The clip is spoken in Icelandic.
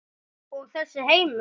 Og þessi heimur?